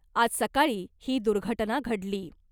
आज सकाळी ही दुर्घटना घडली .